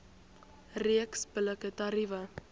reeks billike tariewe